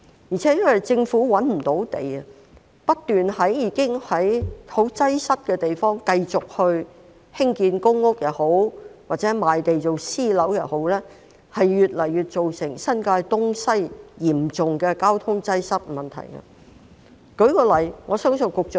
再者，由於政府找不到土地，當政府不斷在已經十分擠塞的地方繼續興建公屋或賣地興建私人樓宇，只會令新界東西的交通擠塞問題越趨嚴重。